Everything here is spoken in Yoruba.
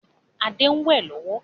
Adé ń wẹ lọ́wọ́